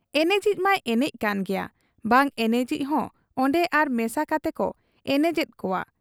ᱮᱱᱮᱡᱤᱡ ᱢᱟᱭ ᱮᱱᱮᱡ ᱠᱟᱱ ᱜᱮᱭᱟ ᱵᱟᱝ ᱮᱱᱮᱡᱤᱡ ᱦᱚᱸ ᱚᱱᱰᱮ ᱟᱨ ᱢᱮᱥᱟ ᱠᱟᱛᱮᱠᱚ ᱮᱱᱮᱡᱮᱫ ᱠᱚᱣᱟ ᱾